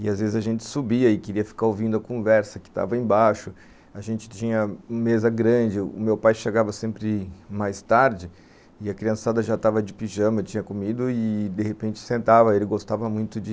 e às vezes a gente subia e queria ficar ouvindo a conversa que estava embaixo, a gente tinha uma mesa grande, o meu pai chegava sempre mais tarde e a criançada já estava de pijama, tinha comido e de repente sentava, ele gostava muito de...